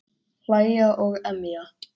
Hlæja og emja.